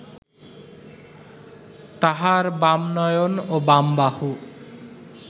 তাঁহার বাম নয়ন ও বাম বাহু